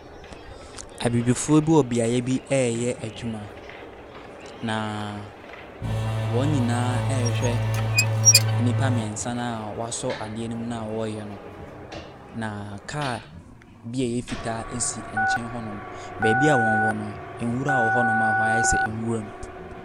Abibifoɔ bi wɔ beaeɛ bi ɛreyɛ adwuma, na wɔn nyinaa ɛrehwɛ nnipa mmiɛnsa no a wɔasɔ adeɛ ne mu no a wɔreyɛ no. Na kaa bi a ɛyɛ fitaa si nkyɛn hɔnom. Beebi a wɔwɔ no nwura wɔwɔ hɔnom a hɔ ayɛ sɛ nwura mu.